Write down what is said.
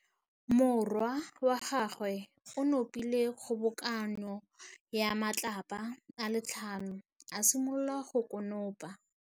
Morwa wa gagwe o nopile kgobokanô ya matlapa a le tlhano, a simolola go konopa.